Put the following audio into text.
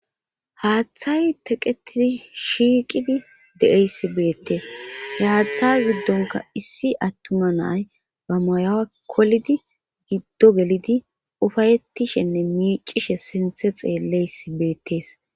Haaththay teqetidi shiiqidi de7eysi beettees he haaththay giddonka issi attuma na7ay ba mayuwa kolidi giddo gelidi ufayettishenne miicishe sinthe xeelleysi beettees.